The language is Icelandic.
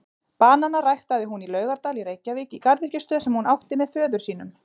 Bananana ræktaði hún í Laugardal í Reykjavík í garðyrkjustöð sem hún átti með föður sínum.